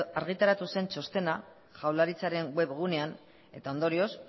argitaratu zen txostena jaurlaritzaren web gunean eta ondorioz